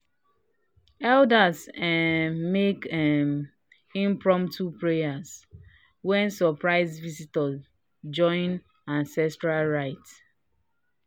elders um make um impromptu prayer when surprise visitors join ancestral rite